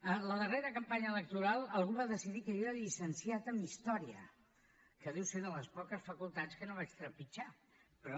a la darrera campanya electoral algú va decidir que jo era llicenciat en història que deu ser de les poques facultats que no vaig trepitjar però